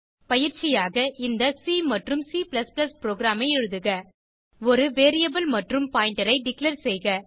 பயிற்சியாக இந்த சி மற்றும் C புரோகிராம் ஐ எழுதுக ஒரு வேரியபிள் மற்றும் பாயிண்டர் ஐ டிக்ளேர் செய்க